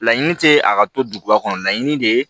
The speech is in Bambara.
Laɲini tɛ a ka to duguba kɔnɔ laɲini de ye